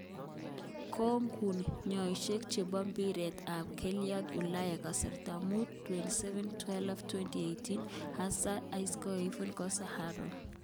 Kong'ung' nyoishek chebo mbiret ab keldo Ulaya kasta mut 27.12.2018: Hazard, Isco, Kovacic, Costa, Aarontz